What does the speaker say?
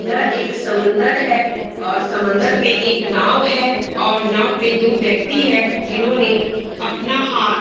यह एक समुन्दर है और समुन्दर पे एक नाव है और नाव पे दो व्यक्ति है जिन्होंने अपना हाथ --